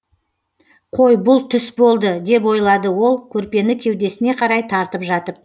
қой бұл түс болды деп ойлады ол көрпені кеудесіне қарай тартып жатып